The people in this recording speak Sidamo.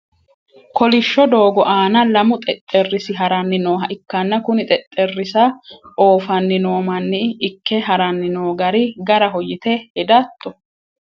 kolishsho doogo aana lamu xexxerisi haranni nooha ikkanna kuni xexxerisa oofanni noo manni ikke haranni noo gari garaho yite hedatto?